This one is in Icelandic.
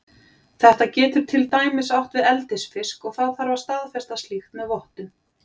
Þetta getur til dæmis átt við eldisfisk og þá þarf að staðfesta slíkt með vottun.